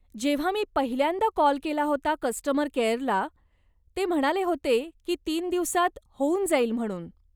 जेव्हा मी पहिल्यांदा कॉल केला होता कस्टमर केअरला, ते म्हणाले होते की तीन दिवसांत होऊन जाईल म्हणून.